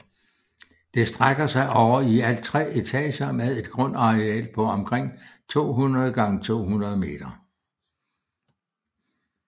Det strækker sig over i alt tre etager med et grundareal på omkring 200x200 meter